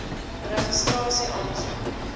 registrasieaansoek